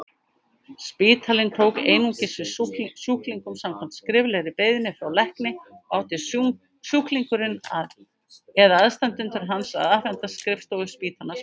Spítalinn tók einungis við sjúklingum samkvæmt skriflegri beiðni frá lækni og átti sjúklingurinn eða aðstandendur hans að afhenda skrifstofu spítalans beiðnina.